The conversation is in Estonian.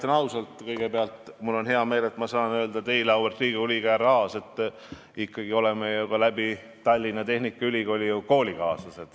Kõigepealt ütlen ausalt, mul on hea meel, et ma saan öelda teile, auväärt Riigikogu liige härra Aas, et me oleme ikkagi olnud ju ka Tallinna Tehnikaülikoolis koolikaaslased.